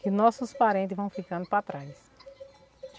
Que nossos parente vão ficando para trás.